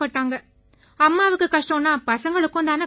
அம்மாவுக்குக் கஷ்டம்னா பசங்களுக்கும் தானே கஷ்டம்